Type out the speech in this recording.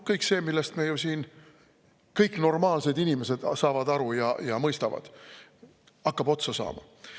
Kõik see, millest kõik normaalsed inimesed saavad aru, hakkab otsa saama.